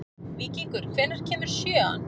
Víkingur, hvenær kemur sjöan?